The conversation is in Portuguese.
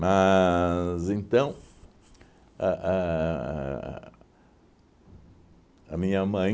então, a a a a minha mãe